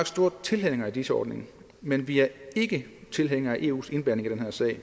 store tilhængere af dis ordningen men vi er ikke tilhængere af eus indblanding i den her sag og